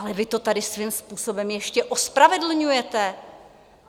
Ale vy to tady svým způsobem ještě ospravedlňujete!